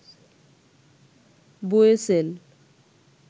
BOESL